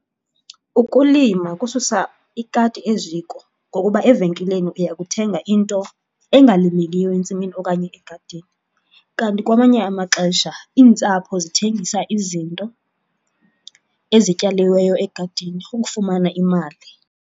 Ukulima kususa ikati eziko ngokuba evenkileni uya kuthenga into engalimekiyo entsimini okanye egadini, kanti kwamanye amaxesha iintsapho zithengisa izinto ezityaliweyo egadini ukufumana imali.